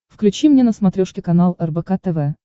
включи мне на смотрешке канал рбк тв